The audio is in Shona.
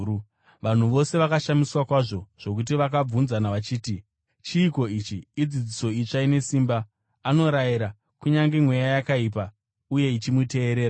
Vanhu vose vakashamiswa kwazvo zvokuti vakabvunzana vachiti, “Chiiko ichi? Idzidziso itsva ine simba! Anorayira kunyange mweya yakaipa, uye ichimuteerera.”